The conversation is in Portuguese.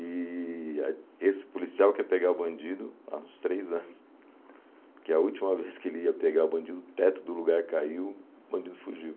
E aí esse policial quer pegar o bandido há uns três anos, que é a última vez que ele ia pegar o bandido, o teto do lugar caiu, o bandido fugiu.